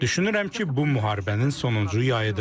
Düşünürəm ki, bu müharibənin sonuncu yayıdır.